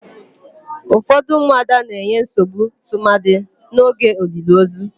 Ufọdụ ụmụada na-enye nsogbu tụmadị n'oge oliliozu.